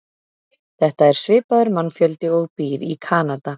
Þetta er svipaður mannfjöldi og býr í Kanada.